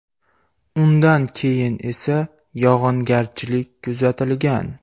Undan keyin esa yog‘ingarchiliik kuzatilgan.